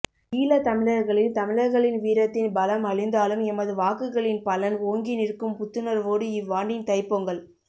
ஈழத் தமிழர்களின் தமிழர்களின் வீரத்தின் பலம் அழிந்தாலும் எமது வாக்குகளின் பலன் ஓங்கி நிற்கும் புத்துணர்வோடு இவ்வாண்டின் தைப்பொங்கல்